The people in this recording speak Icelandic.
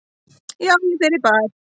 Já, ég fer í bað.